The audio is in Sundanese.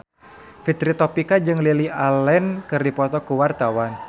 Fitri Tropika jeung Lily Allen keur dipoto ku wartawan